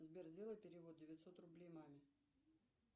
сбер сделай перевод девятьсот рублей маме